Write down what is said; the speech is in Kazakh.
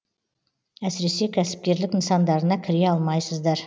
әсіресе кәсіпкерлік нысандарына кіре алмайсыздар